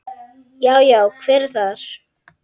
Já. já, hver er þar?